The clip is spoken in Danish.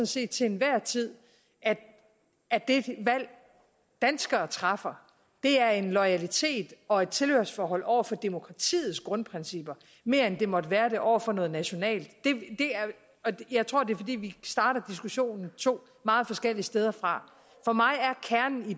set til enhver tid at det valg danskere træffer er en loyalitet og et tilhørsforhold over for demokratiets grundprincipper mere end det måtte være det over for noget nationalt jeg tror det er fordi vi starter diskussionen to meget forskellige steder fra for mig